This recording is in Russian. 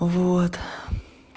вот